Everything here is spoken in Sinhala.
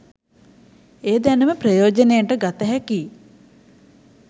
ඒ දැනුම ප්‍රයෝජනයට ගත හැකියි.